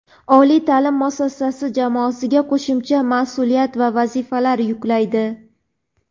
oliy ta’lim muassasasi jamoasiga qo‘shimcha mas’uliyat va vazifalar yuklaydi.